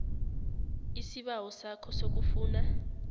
isibawo sakho sokufuna